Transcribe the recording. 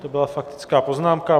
To byla faktická poznámka.